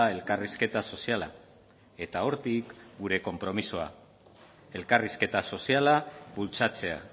elkarrizketa soziala eta hortik gure konpromisoa elkarrizketa soziala bultzatzea